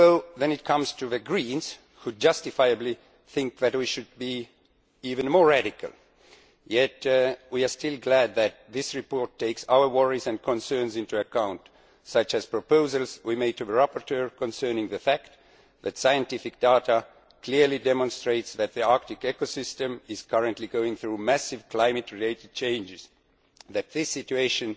Even though the Greens justifiably think that we should be even more radical, we are still glad that this report takes our worries and concerns into account, such as the proposals we made to the rapporteur concerning the fact that scientific data clearly demonstrates that the Arctic ecosystem is currently going through massive climate related changes and that this situation